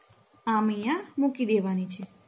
આમ અહિયા મૂકી દેવાની છે.